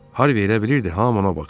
Harri elə bilirdi, hamı ona baxır.